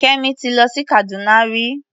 Kẹ́mi ti lọ sí Kàdúná rí.